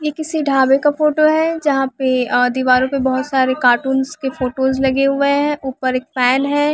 यह किसी ढाबे का फोटो है यहाँ पे अ दीवारों पर बहुत सारे कार्टूनस के फोटोस लगे हुए हैं ऊपर एक फेन है।